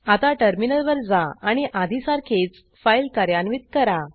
आता टर्मिनलवर जा आणि आधीसारखीच फाईल कार्यान्वित करा